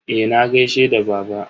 Eh, na gaishe da baba.